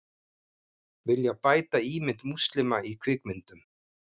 Vilja bæta ímynd múslima í kvikmyndum